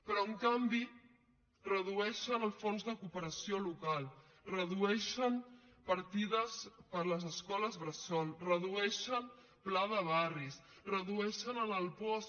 però en canvi redueixen el fons de cooperació local redueixen partides per a les escoles bressol redueixen pla de barris redueixen en el puosc